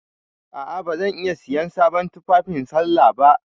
A'a ba zan iya siyan sabon tufafi sallah ba.